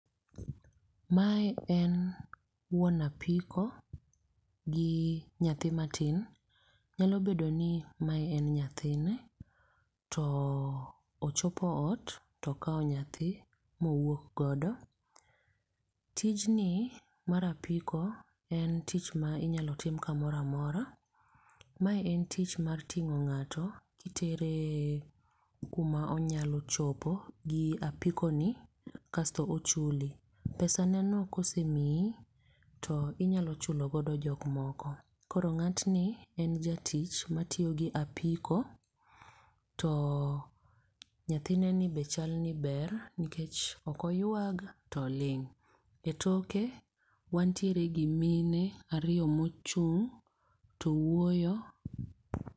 Mae en wuon apiko gi nyathi matin. Nyalo bedo ni mae en nyathine. To ochopo ot to okawo nyathi ma owuok godo. Tijni mar apiko en tich ma inyalo tim kamoro amora. Ma en tich mar ting'o ng'ato kitere kuma onyalo chopo gi apiko ni, kasto ochuli. Pesaneno kosemiyi to inyalo chulo godo jok moko. Koro ng'atni en jatich matiyo gi apiko to nyathineni be chal ni ber nikech ok oywag to oling'. E toke wantiere gi mine ariyo mochung' to wuoyo.